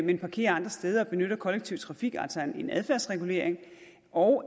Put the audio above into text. men parkerer andre steder og benytter kollektiv trafik altså en adfærdsregulering og